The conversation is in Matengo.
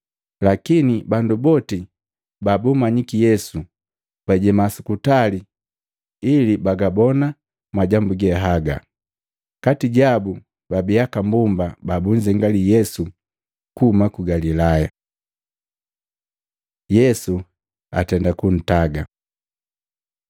Lakini bandu boti babummanyiki Yesu bajeema su kutali ili bagabona majambu ge haga. Kati jabu babii aka mbomba babunzengali Yesu kuhuma ku Galilaya. Yesu atenda kuntaga Matei 27:57-61; Maluko 15:42-47; Yohana 19:38-42